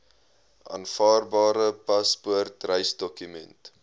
aanvaarbare paspoort reisdokument